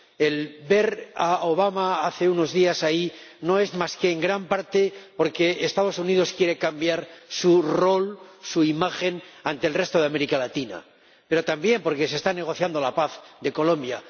El ver a Obama hace unos días ahí se debe, en gran parte, a que los Estados Unidos quieren cambiar su rol, su imagen, ante el resto de América Latina, pero también a que se está negociando la paz en Colombia.